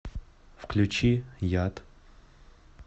включи яд